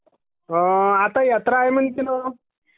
आता यात्रा आहे ना..